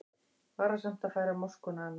Varasamt að færa moskuna annað